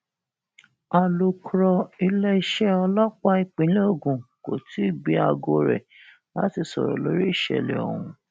alūkrọ iléeṣẹ ọlọpàá ìpínlẹ ogun kò tí ì gbé aago rẹ láti sọrọ lórí ìṣẹlẹ ọhún